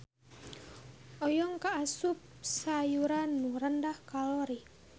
Oyong kaasup sayuran nu rendah kalori.